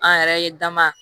An yɛrɛ ye dama